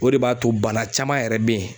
O de b'a to bana caman yɛrɛ bɛ yen.